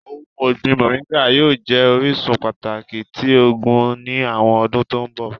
Ohun ọgbin Móringạ yóò jẹ orisun pataki ti oogun ni awọn ọdun to nbọ.